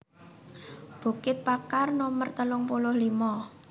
Bukit Pakar Nomer telung puluh limo